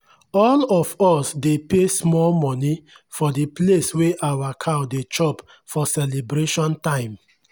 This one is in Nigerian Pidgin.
all of us dey pay small money for d place wey our cow dey chop for celebration time.